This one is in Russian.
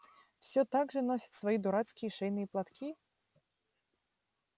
всё так же носит свои дурацкие шейные платки